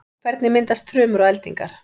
hvernig myndast þrumur og eldingar